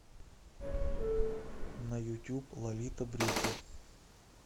на ютюб лолита брюки